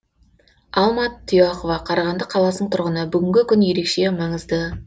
алма тұяқова қарағанды қаласының тұрғыны бүгінгі күн ерекше маңызды